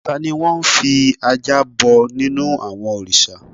Tani wọ́n n fi ajá bọ nínú àwọn òrìsà?